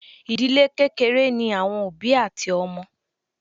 Ìdílé kékeré ní àwọn òbí àti ọmọ.